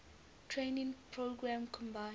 training program combined